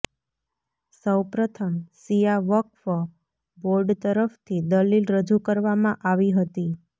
સૌપ્રથમ શિયા વક્ફ બોર્ડ તરફથી દલીલ રજૂ કરવામાં આવી હતી